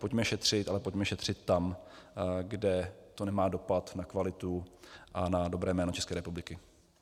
Pojďme šetřit, ale pojďme šetřit tam, kde to nemá dopad na kvalitu a na dobré jméno České republiky.